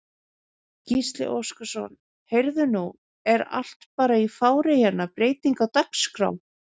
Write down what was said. Gísli Óskarsson: Heyrðu nú er allt bara í fári hérna, breyting á dagskrá?